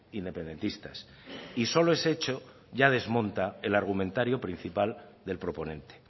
independentistas y solo ese hecho ya desmonta el argumentario principal del proponente